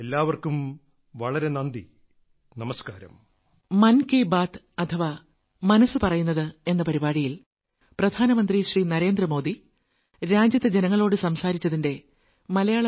എല്ലാവർക്കും വളരെ നന്ദി നമസ്കാരം